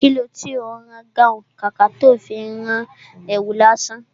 Kilo tí ó ń rán gáhùn, kàkà tó fi rán èwù lásán?